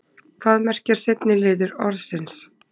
hvað merkir seinni liður orðsins